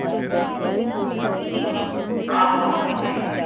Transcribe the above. ਆਹੋ ਆਉਂਦਾ ਉਹ ਵੀ